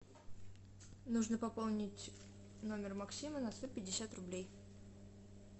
нужно пополнить номер максима на сто пятьдесят рублей